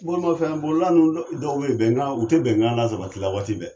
Bolimafɛn bolila dɔw b'in bɛnkan u tɛ bɛnkan la sabatila waati bɛɛ.